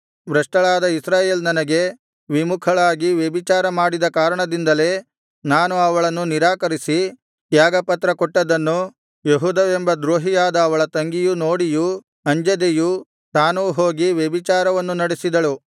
ಭ್ರಷ್ಟಳಾದ ಇಸ್ರಾಯೇಲ್ ನನಗೆ ವಿಮುಖಳಾಗಿ ವ್ಯಭಿಚಾರ ಮಾಡಿದ ಕಾರಣದಿಂದಲೇ ನಾನು ಅವಳನ್ನು ನಿರಾಕರಿಸಿ ತ್ಯಾಗಪತ್ರ ಕೊಟ್ಟದ್ದನ್ನು ಯೆಹೂದವೆಂಬ ದ್ರೋಹಿಯಾದ ಅವಳ ತಂಗಿಯು ನೋಡಿಯೂ ಅಂಜದೆಯೂ ತಾನೂ ಹೋಗಿ ವ್ಯಭಿಚಾರವನ್ನು ನಡೆಸಿದಳು